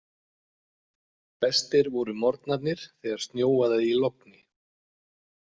Bestir voru morgnarnir þegar snjóaði í logni.